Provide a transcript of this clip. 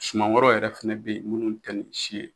Suman wɛrɛw yɛrɛ fɛnɛ be yen munnu tɛ nin si ye